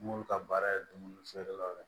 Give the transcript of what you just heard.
M'olu ka baara ye dumuni feerekɛlaw ye